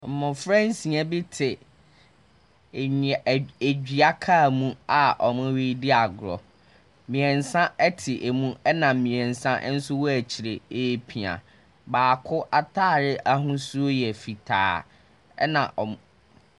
Mmɔfra nsia bi te nnua ɛd duakaa mu a wɔrediagorɔ. Mmiɛnsa te mu ɛna mmiɛnsa nso wɔ akyire. repia. Baako ataare ahosuo yɛ fitaa ɛna ɔmo .